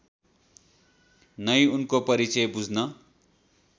नै उनको परिचय बुझ्न